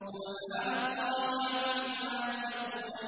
سُبْحَانَ اللَّهِ عَمَّا يَصِفُونَ